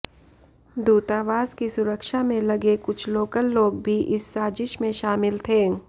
दूतावास की सुरक्षा में लगे कुछ लोकल लोग भी इस साजिश में शामिल थे